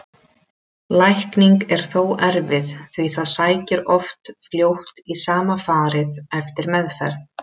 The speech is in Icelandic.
Lækning er þó erfið því það sækir oft fljótt í sama farið eftir meðferð.